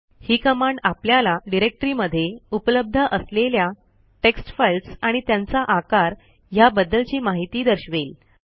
ही command आपल्याला directory मध्ये उपलब्ध असलेल्या टेक्स्ट फाईल्स आणि त्यांचा आकार ह्या बद्दलची माहिती दर्शवेल